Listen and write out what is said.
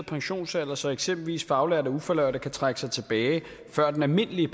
pensionsalder så eksempelvis faglærte og ufaglærte kan trække sig tilbage før den almindelige